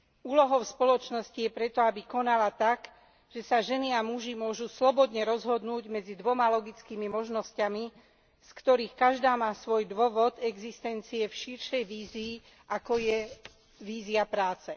Úlohou spoločnosti je preto, aby konala tak, že sa ženy a muži môžu slobodne rozhodnúť medzi dvoma logickými možnosťami, z ktorých každá má svoj dôvod existencie v širšej vízii, ako je vízia práce.